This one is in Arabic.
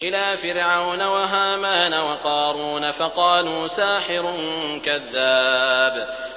إِلَىٰ فِرْعَوْنَ وَهَامَانَ وَقَارُونَ فَقَالُوا سَاحِرٌ كَذَّابٌ